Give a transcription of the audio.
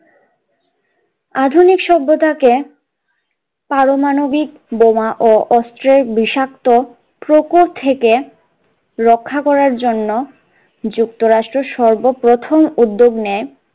আধুনিক সভ্যতা কে পারমাণবিক বোমা ও অস্ত্রের বিষাক্ত প্রকোপ থেকে রক্ষা করার জন্য যুক্তরাষ্ট্র সর্বপ্রথম উদ্যোগ নেন